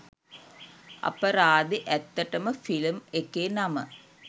අපරාදෙ ඇත්තටම ෆිලම් එකේ නම